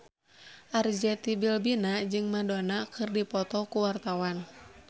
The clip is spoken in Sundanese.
Arzetti Bilbina jeung Madonna keur dipoto ku wartawan